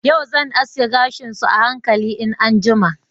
Yau zan aske gashin su a hankali in an jima.